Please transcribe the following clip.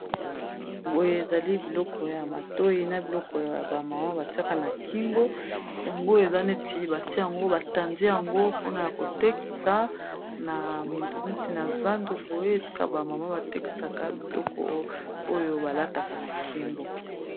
Boye ezali biloko ya matoi na biloko ya bamama, batiaka na kingo yango eza neti batia yango batandi yango mpona ya kotekisa na neti na zando boye esika bamama batekisaka biloko oyo balataka na kingo.